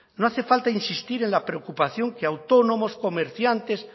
no hace falta insistir en la preocupación que autónomos comerciantes